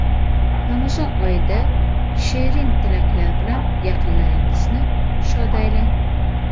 Ramazon oyida #SherinTilaklar bilan yaqinlaringizni shod aylang.